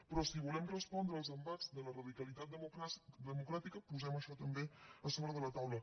però si volem respondre als embats de la radicalitat democràtica posem això també a sobre de la taula